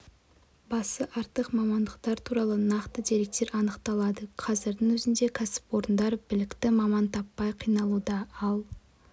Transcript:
басы артық мамандықтар туралы нақты деректер анықталады қазірдің өзінде кәсіпорындар білікті маман таппай қиналуда ал